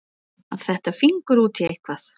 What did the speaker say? Að fetta fingur út í eitthvað